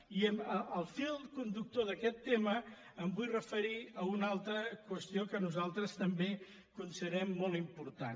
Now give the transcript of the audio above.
i en el fil conductor d’aquest tema em vull referir a una altra qüestió que nosaltres també considerem molt important